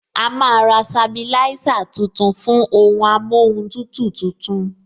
A máa ra sabilisa tuntun fún ohun amóhun tutù tuntun